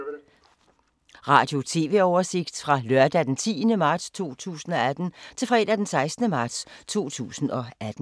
Radio/TV oversigt fra lørdag d. 10. marts 2018 til fredag d. 16. marts 2018